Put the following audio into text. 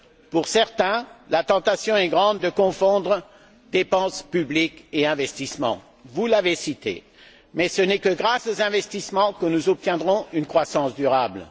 Pour certains, la tentation est grande de confondre dépenses publiques et investissements, vous l'avez indiqué, mais ce n'est que grâce aux investissements que nous obtiendrons une croissance durable.